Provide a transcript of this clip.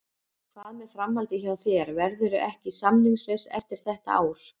Hvað með framhaldið hjá þér, verðurðu ekki samningslaus eftir þetta ár?